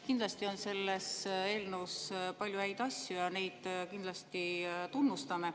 Kindlasti on selles eelnõus palju häid asju ja neid tunnustame.